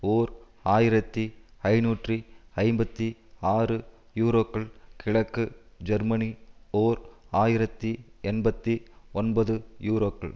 ஓர் ஆயிரத்தி ஐநூற்று ஐம்பத்தி ஆறு யூரோக்கள் கிழக்கு ஜெர்மனி ஓர் ஆயிரத்தி எண்பத்தி ஒன்பதுயூரோக்கள்